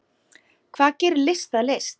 Hvað gerir list að list?